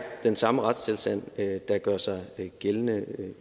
den samme retstilstand der gør sig gældende